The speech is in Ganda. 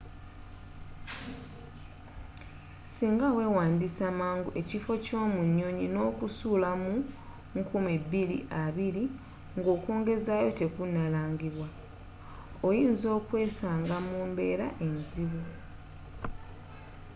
singa weewandisa mangu ekifo kyo mu nyonyi n'okusula mu 2020 nga okwongezaayo tekunnalangibwa oyinza okwesanga mu mbeera enzibu